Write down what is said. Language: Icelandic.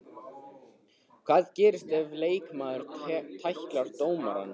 Hvað gerist ef leikmaður tæklar dómarann?